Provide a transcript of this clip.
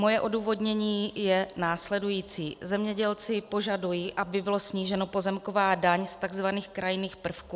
Moje odůvodnění je následující: Zemědělci požadují, aby byla snížena pozemková daň z tzv. krajinných prvků.